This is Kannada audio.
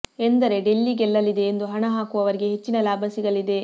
ಎಂದರೆ ಡೆಲ್ಲಿ ಗೆಲ್ಲಲಿದೆ ಎಂದು ಹಣ ಹಾಕುವವರಿಗೆ ಹೆಚ್ಚಿನ ಲಾಭ ಸಿಗಲಿದೆ